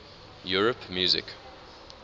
europe music